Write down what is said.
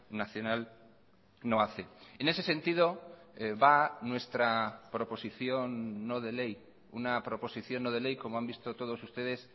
nacional no hace en ese sentido va nuestra proposición no de ley una proposición no de ley como han visto todos ustedes